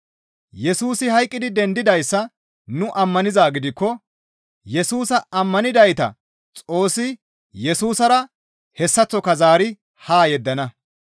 Yesusi hayqqidi dendidayssa nu ammanizaa gidikko Yesusa ammanidayta Xoossi Yesusara hessaththoka zaari haa yeddana.